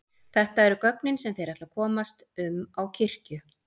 Þetta eru göngin sem þeir ætla að komast um á kirkju.